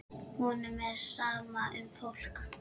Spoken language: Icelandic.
Honum er sama um fólk.